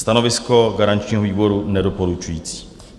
Stanovisko garančního výboru - nedoporučující.